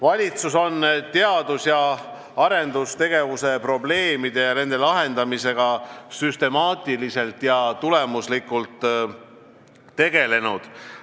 Valitsus on teadus- ja arendustegevuse probleemide lahendamisega süstemaatiliselt ja tulemuslikult tegelenud.